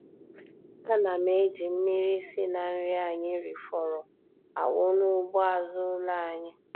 A na m eji mmiri si na nri anyị rifọrọ awụ n'ugbo azụ ụlọ anyị.